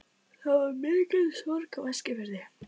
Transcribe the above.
Það varð mikil sorg á Eskifirði.